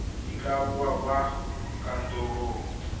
di ka bonwa kwa kantorong